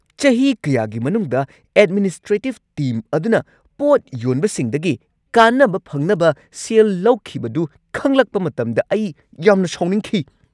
ꯆꯍꯤ ꯀꯌꯥꯒꯤ ꯃꯅꯨꯡꯗ ꯑꯦꯗꯃꯤꯅꯤꯁꯇ꯭ꯔꯦꯇꯤꯚ ꯇꯤꯝ ꯑꯗꯨꯅ ꯄꯣꯠ ꯌꯣꯟꯕꯁꯤꯡꯗꯒꯤ ꯀꯥꯟꯅꯕ ꯐꯪꯅꯕ ꯁꯦꯜ ꯂꯧꯈꯤꯕꯗꯨ ꯈꯪꯂꯛꯄ ꯃꯇꯝꯗ ꯑꯩ ꯌꯥꯝꯅ ꯁꯥꯎꯅꯤꯡꯈꯤ꯫